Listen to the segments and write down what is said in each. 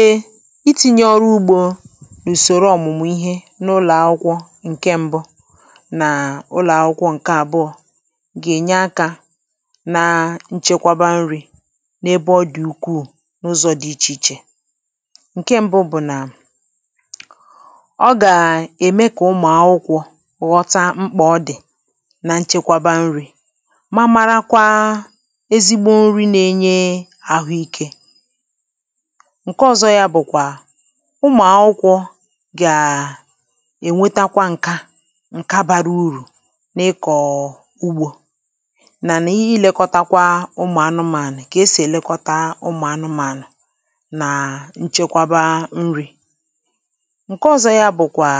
e iti̇nyė ọrụ ugbȯ ùsòro ọ̀mụ̀mụ̀ ihe n’ụlọ̀ akwụkwọ ǹke ṁbụ na ụlọ̀ akwụkwọ ǹke àbụọ gà-ènye akȧ na nchekwaba nri̇ n’ebe ọ dị̀ ukwuù n’ụzọ̇ dị̀ ichè ichè ǹke ṁbụ bụ̀ nà ọ gà-ème kà ụmụ̀ akwụkwọ̇ ghọta mkpà ọ dị̀ na nchekwaba nri̇ ǹke ọ̀zọ yȧ bụ̀kwà ụmụ̀akwụkwọ gà ènwetakwa ǹkè nkè bara urù n’ịkọ̀ ugbȯ nà nà ihi lèkọtakwa ụmụ̀ anụmànụ̀ kà esì èlekọta ụmụ̀ anụmànụ̀ nà nchekwaba nri̇ ǹke ọ̀zọ yȧ bụ̀kwà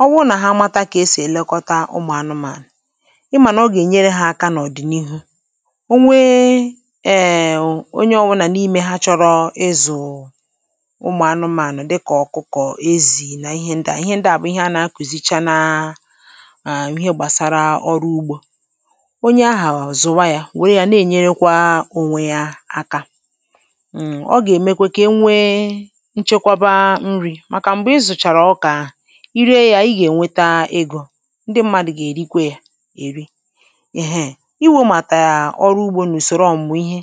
ọ wụrụ nà ha mata kà esì èlekọta ụmụ̀ anụmànụ̀ ịmà nà ọ gà-ènyere hȧ aka n’ọ̀dị̀nihu̇ ụmụ̀ anụmȧnụ̀ dịkà ọ̀kụkọ̀, ezì nà ihe ndịà ihe ndịà bụ̀ ihe anà-akùzicha n’um ihe gbàsara ọrụ ugbȯ onye ahà zùwa yȧ nwère yȧ na-ènyerekwȧ onwe yȧ aka ụmụ̀ ọ gà-èmekwe ka e nwee nchekwaba nrị̇ màkà m̀gbè ị zụ̀chàrà ọ kà i ree yȧ ị gà-ènweta ịgọ̇ ndị mmadụ̀ gà-èrikwe yȧ èri iwu̇ màtà yà ọrụ ugbȯ n’ùsòrò ọmùmù ihe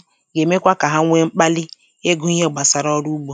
egwu ihe gbasara ọrụ ugbo